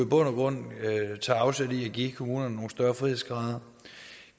grund tager afsæt i at give kommunerne nogle større frihedsgrader og